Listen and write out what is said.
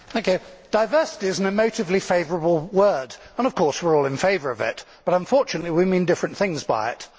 Madam President, diversity is an emotively favourable word and of course we are all in favour of it, but unfortunately we mean different things by it.